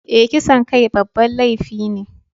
Eh, kisan kai babban laifi ne.